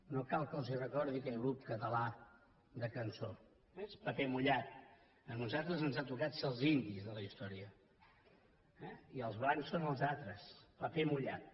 no cal que els recordi aquell grup català de cançó eh és paper mullat i a nosaltres ens ha tocat ser els indis de la història i els blancs són els altres paper mullat